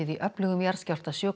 í öflugum jarðskjálfta sjö